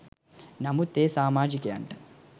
නමුත් ඒ සාමාජිකයන්ට